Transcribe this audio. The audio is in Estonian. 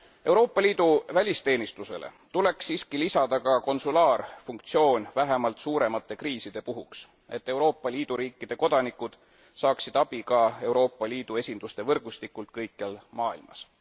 Euroopa Liidu välisteenistusele tuleks siiski lisada ka konsulaarfunktsioon, vähemalt suuremate kriiside puhuks, et Euroopa Liidu riikide kodanikud saaksid abi ka Euroopa Liidu esinduste võrgustikult kõikjal maailmas.